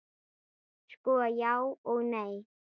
Sko, já og nei.